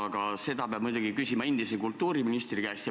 Aga seda peab muidugi küsima endise kultuuriministri käest.